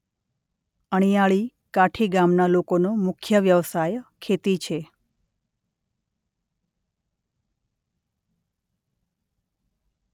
અણીયાળી કાઠી ગામના લોકોનો મુખ્ય વ્યવસાય ખેતી છે.